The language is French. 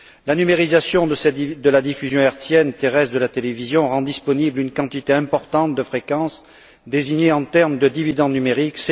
La numérisation de la diffusion hertzienne terrestre de la télévision rend disponible une quantité importante de fréquences désignées en termes de dividendes numériques.